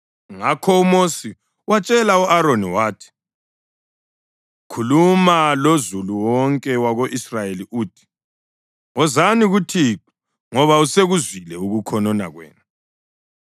Ngakho uMosi watshela u-Aroni wathi, “Khuluma lozulu wonke wako-Israyeli uthi, ‘Wozani kuThixo ngoba usekuzwile ukukhonona kwenu.’ ”